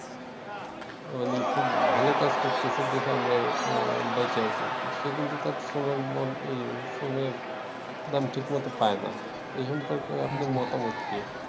মানে খুব ভালো কাজ করতেছে দেখে আমরা বাইচা আছি। সে কিন্তু তার শ্রমের মান ইয়ে শ্রমের ঠিক দাম মতো পায় না। এই সম্পর্কে আপনার মতামত কি?